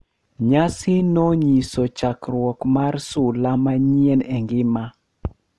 Nyasi no nyiso chakruok mar sula manyien e ngima .